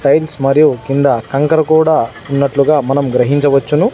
Tiles మరియు కింద కంకర కూడా ఉన్నట్లుగ మనం గ్రహించవచ్చును.